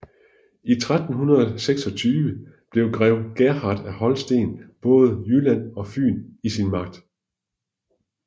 I 1326 havde grev Gerhard af Holsten både Jylland og Fyn i sin magt